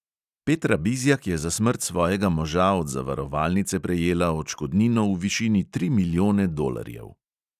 Petra bizjak je za smrt svojega moža od zavarovalnice prejela odškodnino v višini tri milijone dolarjev.